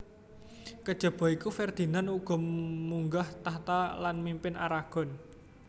Kejaba iku Ferdinand uga munggah tahta lan mimpin Aragon